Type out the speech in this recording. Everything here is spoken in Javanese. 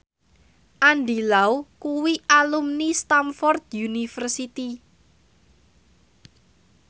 Andy Lau kuwi alumni Stamford University